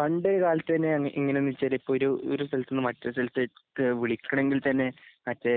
പണ്ട്കാലത്ത്തന്നെഅങ്ങെ ഇങ്ങനാന്ന് വെച്ചാല് ഒരു ഒരുസ്ഥലത്ത്നിന്നും മറ്റേസ്ഥലത്തെ ക്കെവിളിക്കണെങ്കിൽതന്നെ മറ്റേ